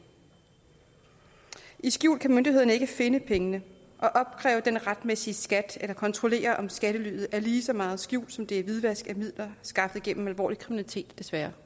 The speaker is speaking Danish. skjult kan myndighederne ikke finde pengene og opkræve den retmæssige skat eller kontrollere om skattelyet er lige så meget skjul som det er hvidvask af midler skaffet gennem alvorlig kriminalitet desværre